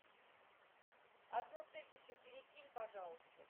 одну тысячу перекинь пожалуйста